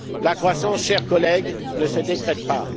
La croissance, chers collègues, ne se décrète